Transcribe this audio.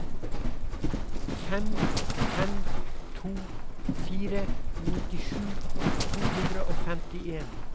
fem fem to fire nittisju to hundre og femtien